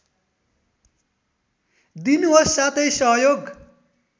दिनुहोस् साथै सहयोग